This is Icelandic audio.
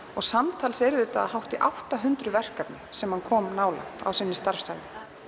og samtals eru þetta um átta hundruð verkefni sem hann kom nálægt sinni starfsævi